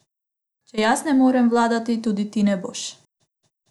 Če jaz ne morem vladati, tudi ti ne boš!